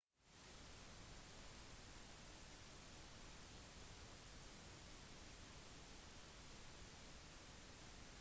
noen er kanskje ikke enig men det bryr jeg meg ikke om